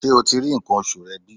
Ṣé o ti rí nǹkan oṣù rẹ bí?